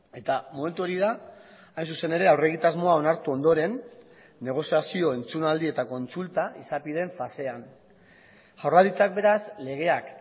eta momentu hori da hain zuzen ere aurregitasmoa onartu ondoren negoziazio entzunaldi eta kontsulta izapideen fasean jaurlaritzak beraz legeak